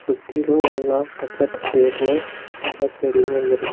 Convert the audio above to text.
சுத்திலு எல்லா பச்சபசேல்னு மரசெடிங்க இருக்கு.